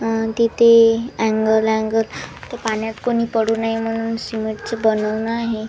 अ तिथे angle angle तर पाण्यात कोणी पडू नये म्हणून सिमेंट च बनवणं आहे.